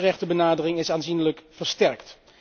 De mensenrechtenbenadering is aanzienlijk versterkt.